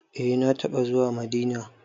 Eh na taɓa zuwa Madina.